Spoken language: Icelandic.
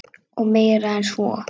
Og meira en svo.